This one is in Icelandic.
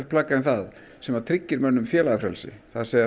plagg en það sem tryggir mönnum félagafrelsi